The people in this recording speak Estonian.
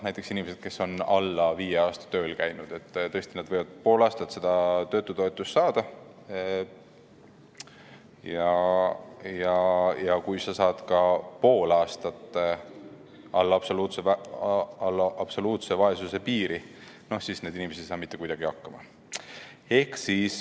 Näiteks inimesed, kes on alla viie aasta tööl käinud, võivad pool aastat töötutoetust saada ja kui sa saad ka pool aastat alla absoluutse vaesuse piiri jäävat sissetulekut, siis need inimesed ei saa mitte kuidagi hakkama.